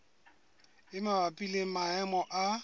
e mabapi le maemo a